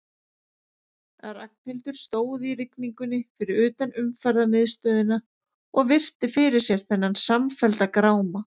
Ragnhildur stóð í rigningunni fyrir utan Umferðarmiðstöðina og virti fyrir sér þennan samfellda gráma.